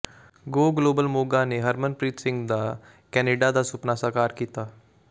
ਗੋ global Moga ਨੇ ਹਰਮਨਪ੍ਰੀਤ ਸਿੰਘ ਦਾ Canada ਦਾ ਸੁਪਨਾ ਸਾਕਾਰ ਕੀਤਾ